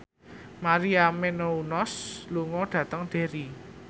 Maria Menounos lunga dhateng Derry